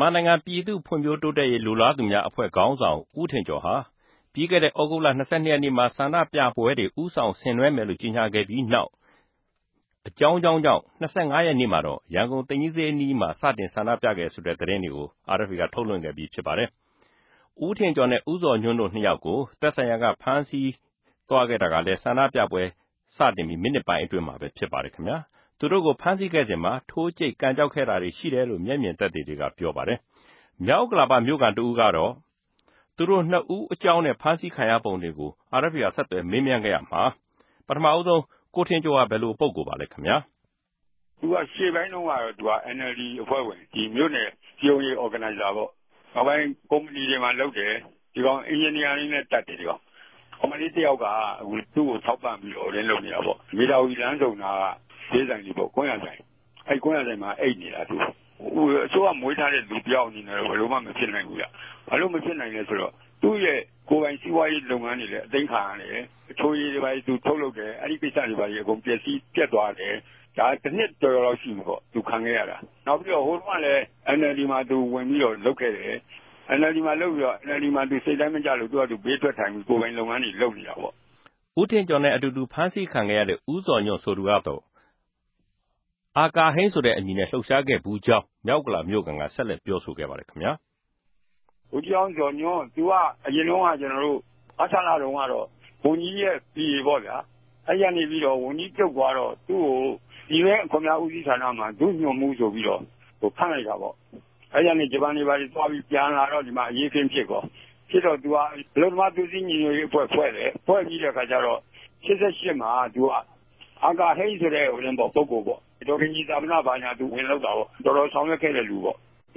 မန်မာိံိုင်ငံ ူပည်သူႛဖြံႚ္ဘဖိြးတိုးတက်ရေး လိုလားသူမဵားအဖြဲႚ ခေၝင်းဆောင် ဦးထင်ကေဵာ်ဟာ ္ဘပီးခဲ့တဲ့ုသဂုတ်လ ၂၂ရက်နေႛက ဆ္ဋိံူပပြဲတေကြို ဦးဆောင်ဆငိံြဲမယ်လိုႛ ေုကညာခဲ့္ဘပီးနောက် အေုကာင်းေုကာင်းေုကာင့် ၂၅ရက်နေႛမြာတော့ ရန်ကုန် သိမ်ဋ္ဌကီးစေဵးမြာ စတင် ဆ္ဋိံူပနေတယ်ဆိုတဲ့ သတင်းတေကြို RFAက ထုတ်လြင့်ခဲ့္ဘပီး ူဖစ်ပၝတယ်။ ဦးထင်ကေဵာ်နဲႛ ဦးဇော်ႌြန်ႛတိုႛ ိံြစ်ယောက်ကို သက်ဆိုင်ရာက ဖမ်းဆီးသြားခဲ့တာကလည်း ဆ္ဋိံူပပြဲစတင်္ဘပီး မိနစ်ပိုင်းအတြင်းမြာပဲ ူဖစ်ပၝတယ်။ သူတိုႛကို ဖမ်းဆီးခဲ့စဉ်မြာ ထိုးဋ္ဌကိတ် ကန်ကေဵာက်တာတြေ ရြိတယ်လိုႛ မဵက်ူမင်သက်သေတေကြ ေူပာပၝတယ်။ ေူမာက်ဥက္ကလာပ္ဘမိြႚခံ တဦးကတော့ သူတိုႛ၂ဦးအေုကာင်းနဲႛ ဖမ်းဆီးခံခဲ့ရပုံတေကြို RFA က ဆက်သြယ်မေးူမန်းခဲ့ရာမြာ ပထမဦးဆုံး ကိုထင်ကေဵာ်ဟာ ဘယ်လိုပုဂ္ဂိြလ်ပၝလဲ။ သူကရြေႚပိုင်းတုန်းက NLD အဖြဲႚဝင်၊ ္ဘမိြႚနယ်စည်း႟ုံးရေးအဖြဲႚဝင်ပေၝ့။ နောက်ပိုင်းကုမဍ္ဎဏီတေမြြာ လုပ်တယ်။ သူက အင်ဂဵင်နီယာလည်းတတ်တယ်။ ကောင်မလေးတယောက်က သူႛကိုထောက်ပံ့္ဘပီးတော့ မေဓာဝီလမ်းဆုံက ကြမ်းယာဆိုင်မြာ အိပ်နေတာ။ အစိုးရက မြေးထားတဲ့လူတယောက် ဘယ်လိုမမြူဖစိံိုင်ဘူး။ ဘာလိုႛမူဖစိံိုင်လဲဆိုတော့ သူႛရဲ့ ကိုယ်ပိုင်စီပြားရေးလုပ်ငန်းတေလြည်း အသိမ်းခံရတယ်။ အခဵြိရည်တြေ ဘာတေထြုတ်လုပ်တယ၊် အဲဒီကိင်္စတေဘြာတြေ ပဵက်သြားတယ်။ ဒၝ တိံြစ်ကေဵာ်ကေဵာ်လောက် ရြ္ဘိပီပေၝ့။ သူခံခဲ့ရတာ နောက်္ဘပီးတော့ ဟိုတုန်းကလည်း NLD မြာ သူဝင်္ဘပီးတော့ လုပ်ခဲ့တယ်။ စိတ်တိုင်းမကဵလိုႛ ဘေးထြက်ထိုင်္ဘပီး ကိုယ်ပိုင်လုပ်ငန်းတြေ လုပ်နေတာပေၝ့။ ဦးထင်ကေဵာ်နဲႛအတူတူ ဖမ်းဆီးခံခဲ့ရတဲ့ ဦးဇော်ႌြန်ႛဆိုသူကတော့ အာကာဟိန်းဆိုတဲ့အမည်နဲႛ လြပ်ရြာခဲ့ဖူးေုကာင်း ေူမာက်ဥက္ကလ္ဘာမိြႚခံက ဆက်လက်္ဘပီးေူပာဆိုခဲ့ပၝတယ်။ ဗိုလ်ဋ္ဌကီးဟောင်းဇော်ႌြန်ႛ၊ သူက အရင်မဆလတုန်းက ဝန်ဋ္ဌကီဿးရဲ PA ပေၝ့ဗဵာ။ ဝန်ဋ္ဌကီးူပြတ်သြားတော့ သူႛကို ူပည်တြင်း အခြန်မဵားဦးစီးဌာနမြာ ဒု-ႌြန်မြြးဆို္ဘပီး ခန်ႛလိုက်တယ်။ အဲဒီကနေ ဂဵပန်တြေ ဘာတေသြြား္ဘပီးူပန်လာ တော့ ဒီမြာ အရေးအခင်းူဖစ်ရော၊ သူက အလုပ်သမား သြေးစည်းညီႌြတ်ရေးအဖြဲႚ ဖြဲႚတယ်။ ၈၈မြာ အာကာဟိန်းဆိုတဲ့နာမည်နဲႛလြပ်ရြားတယ်။ ဒေၞခင်ုကည်စဵာပနမြာ ဝင်လုပ်ခဲ့တယ်၊ တော်တော်ဆောင်႟ြက်ခဲ့တဲ့ လူပေၝ့။ သ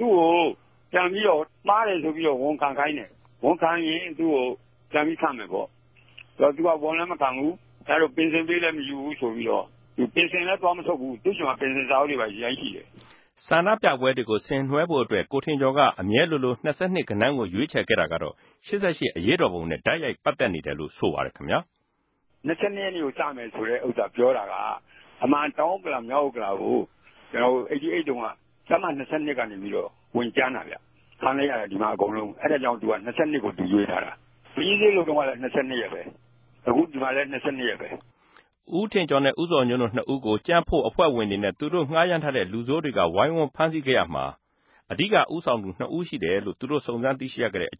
ူႛကိုမြားတယ်ဆို္ဘပီးတော့ ဝန်ခံခိုင်းတယ်။ ဝန်ခံရင်ူပန်္ဘပီး ခန်ႛမယ်ပေၝ့။ သူက ဝန်လည်းမခံဘူး၊ တိုႛ ပင်စင်ပေးလည်းမယူဘူးတော့ ပင်စင်လည်းသြားမထုတ်ဘူး။ ဆ္ဋိံူပပြဲတေကြို ဆငိံြဲဖိုႛအတြက် ကိုထင်ကေဵာ်က အူမဲလိုလို ၂၂ ဂဏန်းကိုေ႟ြးခဵယ်ခဲ့တာကတော့ ၈၈ အရေးတော်ပုံနဲႛ တိုက်႟ိုက ်ပတ်သက်နေတယ်လိုႛဆိုပၝတယ်။ ၂၂ရက်နေႛကို စမယ်ဆို ေူပာတာက အမြန်တောင်ဥက္ကလာ၊ ေူမာက်ဥက္ကလာကို ၈၈တုန်းက တပ်မ ၂၂ ကန္ဘေပီးတော့ ဝင်ုကမ်းတာဗဵ။ အဲဒၝေုကာင့် သူက ၂၂ ကိုေ႟ြးထားတာ။ သိမ်ဋ္ဌကီးစေဵးလုပ်တုန်းကလည်း ၂၂ ပဲ အခု ဒီမြာလည်း ၂၂ရက်ပဲ။ ဦးထင်ကေဵာ်နဲႛ ဦးဇော်ႌြန်ႛတိုႛ ၂ဦးကို ုကံႛဖြံႚအဖြဲႚဝင်တေနြဲႛ ငြားရမ်းထားတဲ့ လူဆိုးတေကြ ဝိုင်းဝန်းဖမ်းဆီးုကရာမြာ အဓိကဦးဆောင်သူ ိံြစ်ဦးရြိတယ်လိုႛ သူတိုႛ စုံစမ်းသိရြိရတဲ့အ